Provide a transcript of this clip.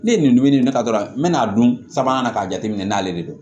Ne ye nin dumuni nin ne ta dɔrɔn n mɛ'a dun sabanan na k'a jateminɛ n'ale de don